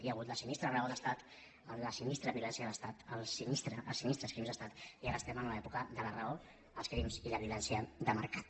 hi ha hagut la sinistra raó d’estat la sinistra violència d’estat els sinistres crims d’estat i ara estem en una època de la raó els crims i la violència de mercat